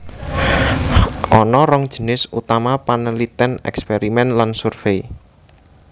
Ana rong jinis utama panelitèn èksperimen lan survei